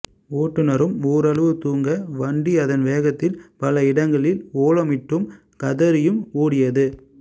ஓட்டுநரும் ஓரளவு தூங்க வண்டி அதன் வேகத்தில் பல இடங்களில் ஓலமிட்டும் கதறியும் ஓடியது